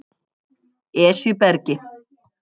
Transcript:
Esjubergi